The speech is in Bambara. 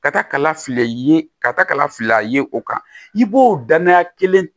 Ka taa kala fili ye ka taa kala fil'a ye o kan i b'o danaya kelen